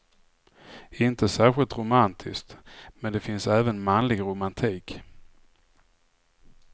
Inte särskilt romantiskt, men det finns även manlig romantik.